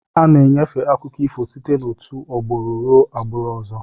Ana-enyefe akụkọ ifo site òtù agbụrụ ruo n'agbụrụ ọzọ.